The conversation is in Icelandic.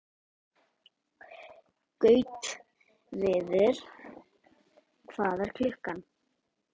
Gautviður, hvað er klukkan?